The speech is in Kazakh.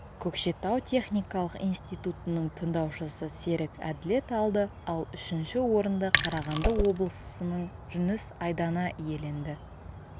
көкшетау техникалық институтының тындаушысы серік әділет алды ал үшінші орынды қарағанды облысының жүніс айдана иеленді